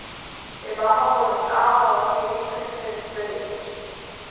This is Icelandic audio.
Við mamma fórum til afa og ömmu í vikunni sem við tvö hittumst.